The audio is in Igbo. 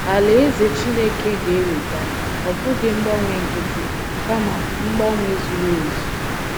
Alaeze Chineke ga - eweta, ọ bụghị mgbanwe nkịtị, kama mgbanwe zuru ezu